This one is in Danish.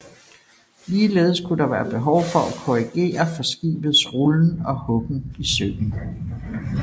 Ligeledes kunne der være behov for at korrigere for skibets rullen og huggen i søen